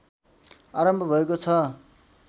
आरम्भ भएको छ